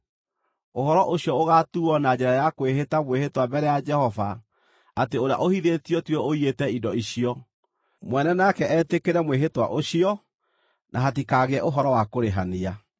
ũhoro ũcio wao ũgaatuuo na njĩra ya kwĩhĩta mwĩhĩtwa mbere ya Jehova atĩ ũrĩa ũhithĩtio tiwe ũiyĩte indo icio. Mwene nake etĩkĩre mwĩhĩtwa ũcio, na hatikagĩa ũhoro wa kũrĩhania.